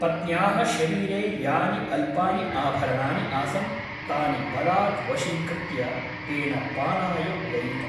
पत्न्याः शरीरे यानि अल्पानि आभरणानि आसन् तानि बलात् वशीकृत्य तेन पानाय व्ययितम् ।